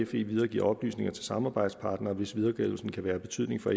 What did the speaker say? fe videregiver oplysninger til samarbejdspartnere hvis videregivelsen kan være af betydning for